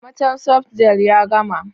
Amatel softgel ya gama.